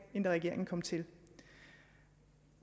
regeringen kom til